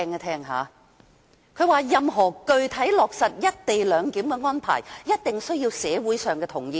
他說道："任何具體落實一地兩檢的安排，一定需要得到社會上同意。